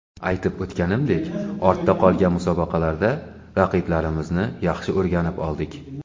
Aytib o‘tganimdek, ortda qolgan musobaqalarda raqiblarimizni yaxshi o‘rganib oldik.